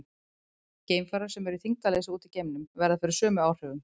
Geimfarar sem eru í þyngdarleysi úti í geimnum verða fyrir sömu áhrifum.